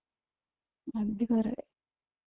अगदी खर आहे